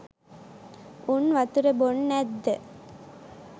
උන් වතුර බොන්නැත්ද?